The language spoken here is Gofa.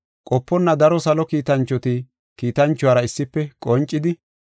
Qoponna daro salo kiitanchoti kiitanchuwara issife qoncidi,